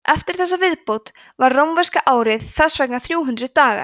eftir þessa viðbót var rómverska árið þess vegna þrjú hundruð dagar